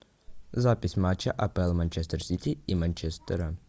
запись матча апл манчестер сити и манчестера